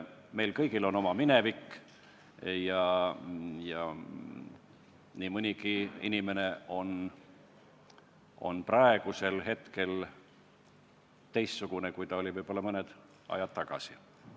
Meil kõigil on oma minevik ja nii mõnigi inimene on praegu teistsugune, kui ta oli võib-olla mõni aeg tagasi.